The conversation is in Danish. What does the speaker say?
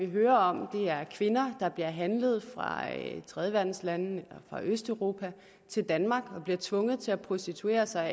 hører om er kvinder der bliver handlet fra tredjeverdenslande og østeuropa til danmark og bliver tvunget til at prostituere sig og